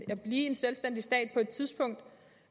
at blive en selvstændig stat på et tidspunkt